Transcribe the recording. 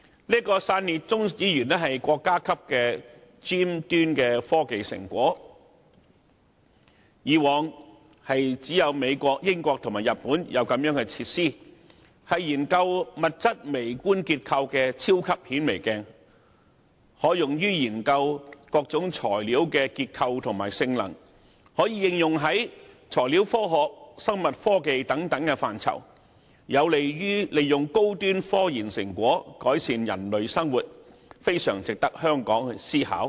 這個基地被視為國家級尖端科技成果，以往只有美國、英國和日本等國家才有類似設施，用以研究物質微觀結構，更被譽為"超級顯微鏡"，可用以研究各種材料的結構和性能，在材料科學、生物科技等範疇予以應用，有利於利用高端科研成果改善人類生活，十分值得香港思考。